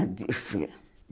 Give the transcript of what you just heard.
Artística.